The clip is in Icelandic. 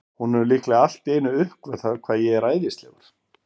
Hún hefur líklega allt í einu uppgötvað hvað ég er æðislegur.